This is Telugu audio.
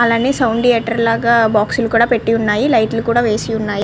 అలానే సౌండ్ థియేటర్ లాగా బాక్సులు కూడా పేటి ఉన్నాయి. లైట్లు కూడా వేసి ఉన్నాయి.